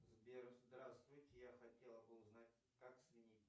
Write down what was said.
сбер здравствуйте я хотел бы узнать как сменить